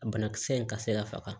A banakisɛ in ka se ka faga